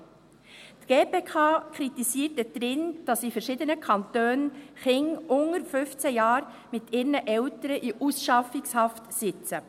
Die GPK kritisiert dort, dass in verschiedenen Kantonen Kinder unter 15 Jahren mit ihren Eltern in Ausschaffungshaft sitzen.